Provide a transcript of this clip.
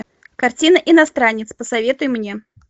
картина иностранец посоветуй мне